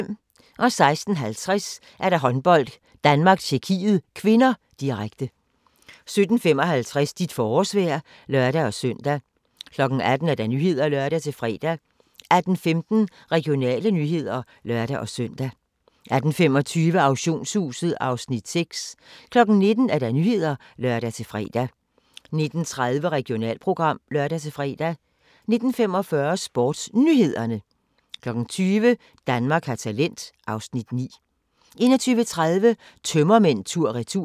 16:50: Håndbold: Danmark-Tjekkiet (k), direkte 17:55: Dit forårsvejr (lør-søn) 18:00: Nyhederne (lør-fre) 18:15: Regionale nyheder (lør-søn) 18:25: Auktionshuset (Afs. 6) 19:00: Nyhederne (lør-fre) 19:30: Regionalprogram (lør-fre) 19:45: SportsNyhederne 20:00: Danmark har talent (Afs. 9) 21:30: Tømmermænd tur-retur